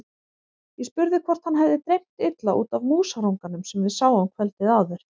Ég spurði hvort hann hefði dreymt illa út af músarunganum sem við sáum kvöldið áður.